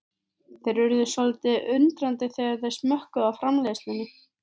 Þeir urðu svolítið undrandi þegar þeir smökkuðu á framleiðslunni.